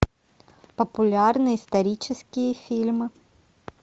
популярные исторические фильмы